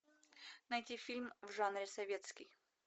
найти фильм в жанре советский